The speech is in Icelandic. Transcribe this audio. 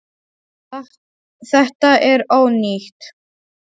Þetta er ónýtt.